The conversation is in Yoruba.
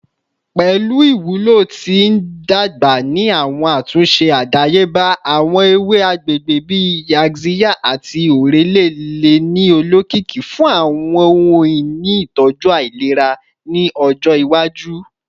Pẹlu iwulo ti ndagba ni awọn atunṣe adayeba, awọn ewe agbegbe bii yaxiya ati orele le ni olokiki fun awọn ohun-ini itọju ailera ni ọjọ iwaju.